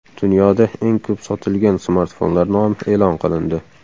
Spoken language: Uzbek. Dunyoda eng ko‘p sotilgan smartfonlar nomi e’lon qilindi.